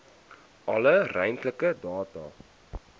alle ruimtelike data